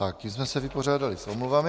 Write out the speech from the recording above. Tím jsme se vypořádali s omluvami.